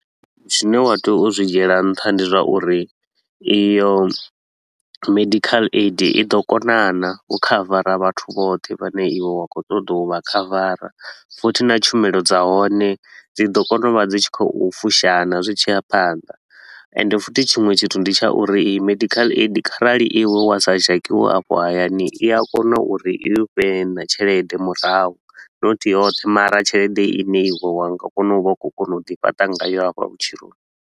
Zwine wa tea u zwi dzhiela nṱha ndi zwa uri iyo medical aid i ḓo kona naa u khavara vhathu vhoṱhe vhane iwe wa khou ṱoḓa u vha khavara. Futhi na tshumelo dza hone dzi ḓo kona u vha dzi tshi khou fusha naa zwi tshi ya phanḓa, ende futhi tshiṅwe tshithu ndi tsha uri iyi medical aid kharali iwe wa sa dzhakiwe afho hayani, i a kona uri i u fhe naa tshelede murahu. Not yoṱhe mara tshelede i ne iwe wa nga kona u vha u khou kona u ḓi fhaṱa ngayo afha vhutshiloni.